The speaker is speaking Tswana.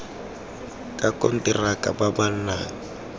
ka konteraka ba ba nang